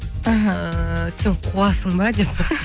мхм ііі сен қуасың ба деп